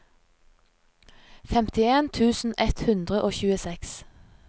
femtien tusen ett hundre og tjueseks